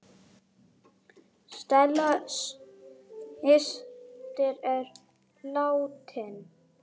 Stella systir er látin.